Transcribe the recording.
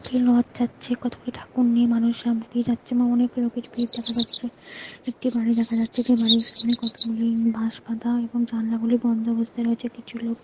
যাচ্ছে কত গুলো ঠাকুর নিয়ে মানুষ সামনে দিয়ে যাচ্ছে অনেক লোকের ভিড় দেখা যাচ্ছে একটি বাড়ি দেখা যাচ্ছে যে বাড়ির সামনে কতগুলি বাঁশ বাঁধা এবং জানালা গুলি বন্ধ অবস্থায় রয়েছে কিছু লোক--